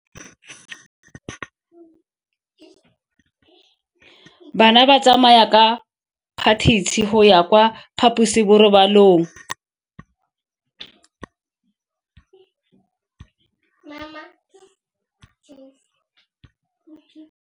Bana ba tsamaya ka phašitshe go ya kwa phaposiborobalong.